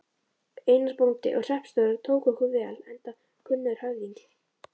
Einar, bóndi og hreppstjóri, tók okkur vel enda kunnur höfðingi.